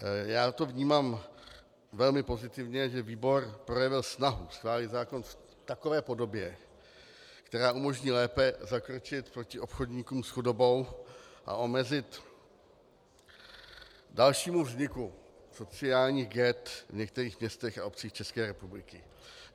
Já to vnímám velmi pozitivně, že výbor projevil snahu schválit zákon v takové podobě, která umožní lépe zakročit proti obchodníkům s chudobou a zamezit dalšímu vzniku sociálních ghet v některých městech a obcích České republiky.